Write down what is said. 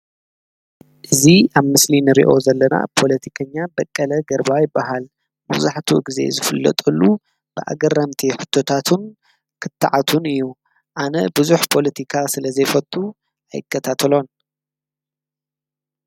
እዙ ኣብ ምስሊን ርኦ ዘለና ጶለቲከኛ በቀለ ገርባዊ በሃል ምዙሕቱ እጊዜ ዝፍለጠሉ ብኣገርምቲ ሕተታቱን ኽትዓቱን እዩ ኣነ ብዙኅ ጶሎቲካ ስለ ዘይፈቱ ኣይከታተሎን ።